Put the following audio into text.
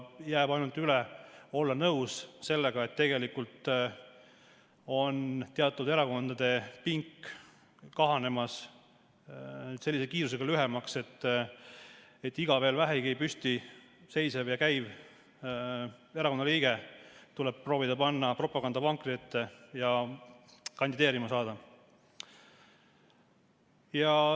Jääb ainult üle olla nõus sellega, et tegelikult on teatud erakondade pink lühenemas sellise kiirusega, et iga veel vähegi püsti seisev ja käiv erakonnaliige tuleb proovida panna propagandavankri ette ja kandideerima saada.